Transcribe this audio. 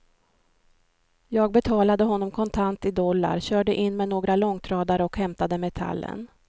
Jag betalade honom kontant i dollar, körde in med några långtradare och hämtade metallen.